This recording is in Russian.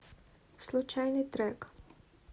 случайный трек